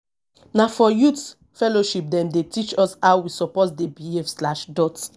na for youth fellowship dem dey teach us how we suppose dey behave slash dot